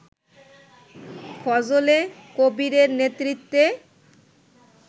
ফজলে কবীরের নেতৃত্বে